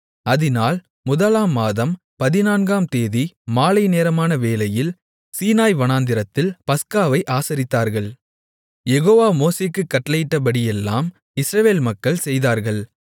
அதினால் முதலாம் மாதம் பதினான்காம் தேதி மாலைநேரமான வேளையில் சீனாய் வனாந்திரத்தில் பஸ்காவை ஆசரித்தார்கள் யெகோவா மோசேக்குக் கட்டளையிட்டபடியெல்லாம் இஸ்ரவேல் மக்கள் செய்தார்கள்